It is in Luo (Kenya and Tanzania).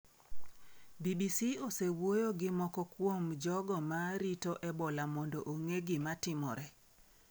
BBC osewuoyo gi moko kuom jogo ma rito Ebola mondo ong’e gima timore.